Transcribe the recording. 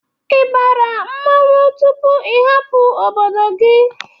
I bara mmọnwụ tupu i hapụ obodo gị?